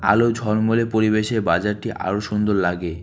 আলো ঝলমলে পরিবেশে বাজারটি আরো সুন্দর লাগে।